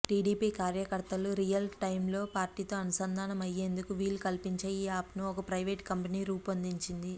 TDP కార్యకర్తలు real టైమ్లో పార్టీతో అనుసంధానం అయ్యేందుకు వీలు కల్పించే ఈ యాప్ను ఒక ప్రయివేటు కంపెనీ రూపొందించింది